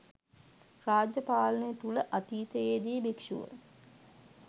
රාජ්‍ය පාලනය තුළ අතීතයේදී භික්ෂුව